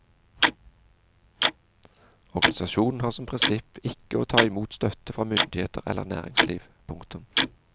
Organisasjonen har som prinsipp ikke å ta imot støtte fra myndigheter eller næringsliv. punktum